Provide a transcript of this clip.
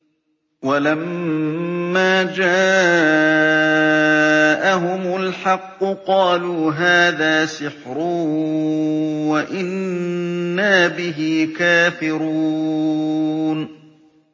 وَلَمَّا جَاءَهُمُ الْحَقُّ قَالُوا هَٰذَا سِحْرٌ وَإِنَّا بِهِ كَافِرُونَ